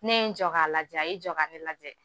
Ne n jɔ k'a lajɛ, a y'i jɔ ka ne lajɛ